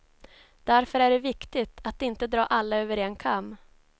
Därför är det viktigt att inte dra alla över en kam.